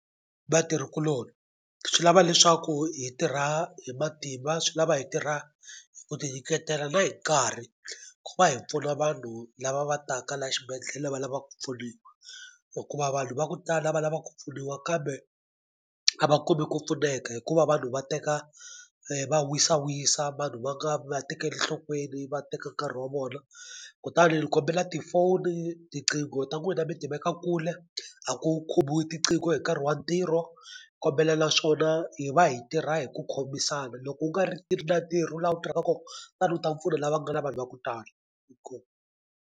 Vatirhikuloni swi lava leswaku hi tirha hi matimba swi lava hi tirha ku tinyiketela na hi nkarhi ku va hi pfuna vanhu lava va taka la xibedhlele va lava ku pfuniwa hikuva vanhu va ku tala lava lava ku pfuniwa kambe a va kumi ku pfuneka hikuva vanhu va teka va wisa wisa vanhu va nga va tekeli nhlokweni va teka nkarhi wa vona kutani ni kombela tifoni tiqingho ta n'wina mi tiveka kule a ku khomiwi tiqingho hi nkarhi wa ntirho kombela naswona hi va hi tirha hi ku khomisana loko u nga ri na ntirho la u tirhaka ko tana u ta pfuna lava nga na vanhu va ku tala .